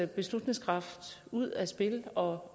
beslutningskraft ud af spil og